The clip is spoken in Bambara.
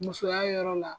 Musoya yɔrɔ la